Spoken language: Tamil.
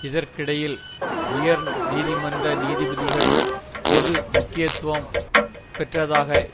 இதற்கிடையில் உயர் நீதிமன்ற நீதிபதிகள் பொது முக்கியத்துவம் பெற்றதாக